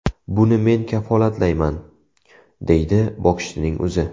Buni men kafolatlayman”, deydi bokschining o‘zi.